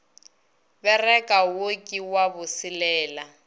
bereka wo ke wa boselela